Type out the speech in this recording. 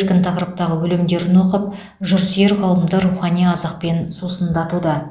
еркін тақырыптағы өлеңдерін оқып жырсүйер қауымды рухани азықпен сусындатуда